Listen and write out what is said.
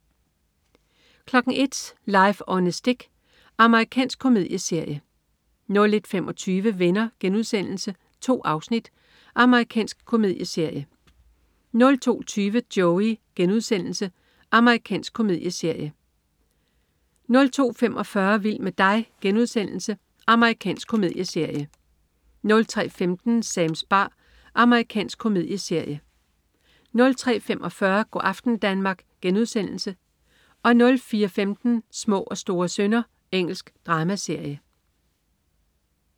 01.00 Life on a Stick. Amerikansk komedieserie 01.25 Venner.* 2 afsnit. Amerikansk komedieserie 02.20 Joey.* Amerikansk komedieserie 02.45 Vild med dig.* Amerikansk komedieserie 03.15 Sams bar. Amerikansk komedieserie 03.45 Go' aften Danmark* 04.15 Små og store synder. Engelsk dramaserie